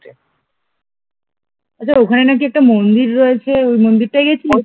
আচ্ছা ওখানে নাকি একটা মন্দির আছে ওই মন্দিরটাই গেছিলিস?